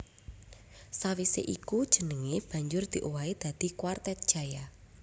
Sawisé iku jenengé banjur diowahi dadi Kwartet Jaya